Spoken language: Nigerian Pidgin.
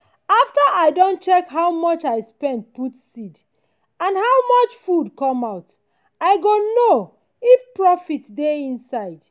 after i don check how much i spend put seed and how much food come out i go know if profit dey inside.